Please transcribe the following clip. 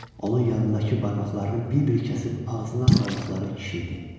Onun yanındakı barmaqlarını bir-bir kəsib ağzına saldıqları kişi idi.